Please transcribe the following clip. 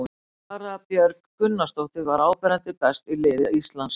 Sara Björg Gunnarsdóttir var áberandi best í liði Íslands.